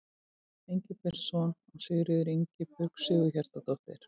Engilbertsson og Sigríður Ingibjörg Sigurhjartardóttir.